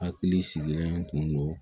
Hakili sigilen tun do